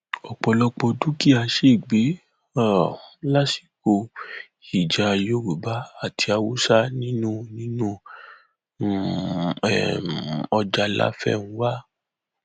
ọpọlọpọ dúkìá ṣègbè um lásìkò ìjà yorùbá àti haúsá nínú nínú um ọjà láfẹnwá